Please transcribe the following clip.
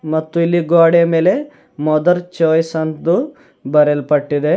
ಮತ್ತು ಇಲ್ಲಿ ಗ್ವಾಡೆಯ ಮೇಲೆ ಮದರ್ ಚಾಯ್ಸ್ ಎಂದು ಬರೆಯಲ್ಪಟ್ಟಿದೆ.